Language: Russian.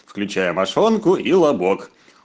включай мошонку и лобок